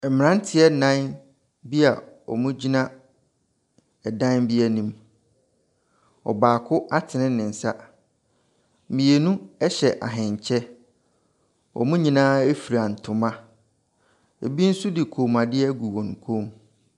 Mmeranteɛ nnan bi a wɔgyina dan bi anim. Ɔbaako atene ne nsa. Mmienu hyɛ ahenkyɛ. Wɔn nyinaa fura ntoma. Ebi nso de kɔmmuadeɛ agu wɔn kɔn mu.